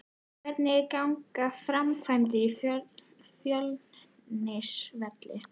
Hvernig ganga framkvæmdirnar á Fjölnisvelli?